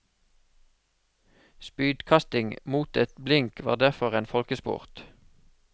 Spydkasting mot et blink var derfor en folkesport.